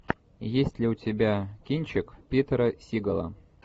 есть ли у тебя кинчик питера сигала